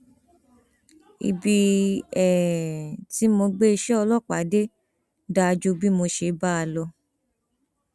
ibi tí mo gbé iṣẹ ọlọpàá dé dáa ju bí mo ṣe bá a lọ